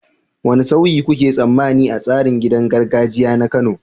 Wane sauyi kuke tsammani a tsarin gidan gargajiya na Kano?